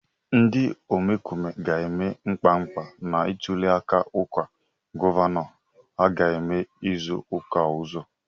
Ndị omekome ga-eme mkpamkpa na ntụliaka ọkwa gọvanọ aga eme izu ụka ọzọ.